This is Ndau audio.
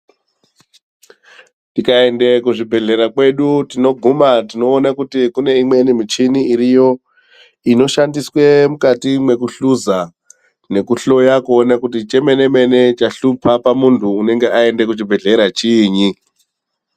Tikaende kuzvibhehlera kwedu tinoguma tinoone kuti kuneimweni muchini iriyo inoshandiswe mukati mwekuhluza nekuhloya kuona kuti chemene mene hlupa pamundu unenga aenda kuchibhehlera chinyi.